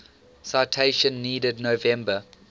citation needed november